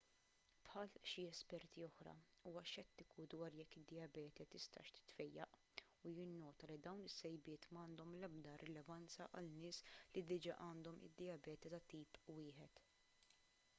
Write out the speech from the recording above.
bħal xi esperti oħra huwa xettiku dwar jekk id-dijabete tistax titfejjaq u jinnota li dawn is-sejbiet m'għandhom l-ebda rilevanza għal nies li diġà għandhom dijabete tat-tip 1